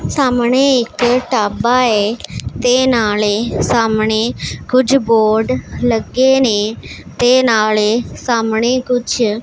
ਸਾਹਮਣੇ ਇੱਕ ਢਾਬਾ ਏ ਤੇ ਨਾਲੇ ਸਾਹਮਣੇ ਕੁਝ ਬੋਰਡ ਲੱਗੇ ਨੇ ਤੇ ਨਾਲੇ ਸਾਹਮਣੇ ਕੁਝ--